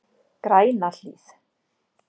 Grænahlíð